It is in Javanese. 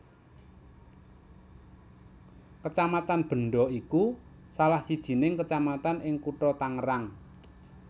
Kecamatan Benda iku salah sijining kecamatan ing Kutha Tangerang